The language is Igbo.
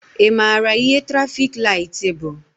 Ị maara ihe trafik laịtị bụ?